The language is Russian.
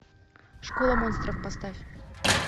школа монстров поставь